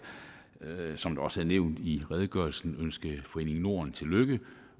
som det også er nævnt i redegørelsen ønske foreningen norden tillykke